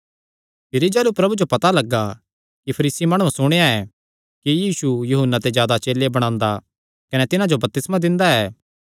भिरी जाह़लू प्रभु जो पता लग्गा कि फरीसी माणुआं सुणेया ऐ कि यीशु यूहन्ना ते जादा चेले बणांदा कने तिन्हां जो बपतिस्मा दिंदा ऐ